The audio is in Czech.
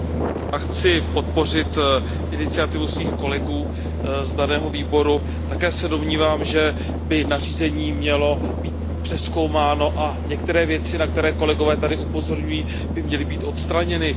Paní předsedající, já chci podpořit iniciativu svých kolegů z daného výboru. Také se domnívám, že by nařízení mělo být přezkoumáno a některé věci, na které kolegové tady upozorňují, by měly být odstraněny.